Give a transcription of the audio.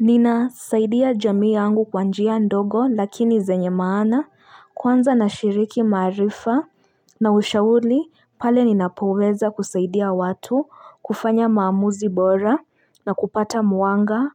Ninasaidia jamii yangu kwa njia ndogo lakini zenye maana kwanza nashiriki maarifa na ushauri pale ninapoweza kusaidia watu kufanya maamuzi bora na kupata mwanga